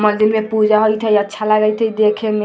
मंदील में पूजा होइत है अच्छा लागइत हय देखे में।